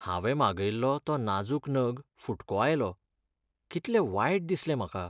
हांवें मागयल्लो तो नाजूक नग फुटको आयलो. कितलें वायट दिसलें म्हाका!